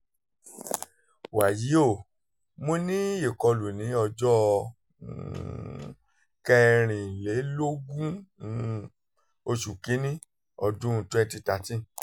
wàyí o mo ní ìkọlù ní ọjọ́ um kẹrìnlélógún um oṣù kìíní ọdún 2013